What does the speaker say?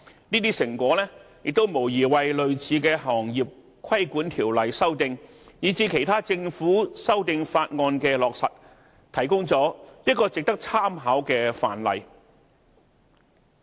這些成果無疑為類似的行業規管條例修訂以至其他政府修訂法案的落實，提供了一個值得參考的範例。